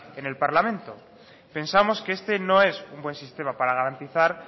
en el parlamento pensamos que este no es un buen sistema para garantizar